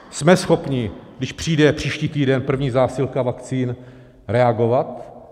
Jsme schopni, když přijde příští týden první zásilka vakcín, reagovat?